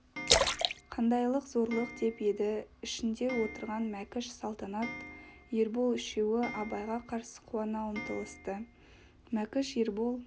қандайлық зорлық деп еді ішінде отырған мәкіш салтанат ербол үшеуі абайға қарсы қуана ұмтылысты мәкіш ербол